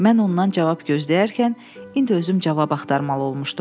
Mən ondan cavab gözləyərkən indi özüm cavab axtarmalı olmuşdum.